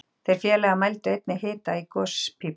Þeir félagar mældu einnig hita í gospípu